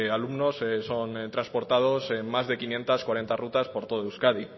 alumnos son transportados en las de quinientos cuarenta rutas por todo euskadi